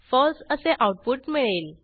फळसे असे आऊटपुट मिळेल